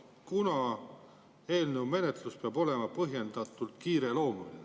eelnõu menetlus olema põhjendatult kiireloomuline.